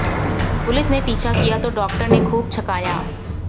police ने पीछा किया तो डाॅक्टर ने खूब छकाया